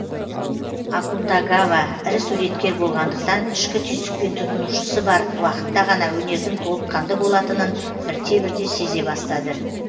акутагава ірі суреткер болғандықтан ішкі түйсікпен тұтынушысы бар уақытта ғана өнердің толыққанды болатынын бірте бірте сезе бастады